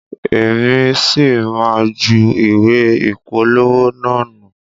Èmi sì má jù ìwé ìpolówó naa nu.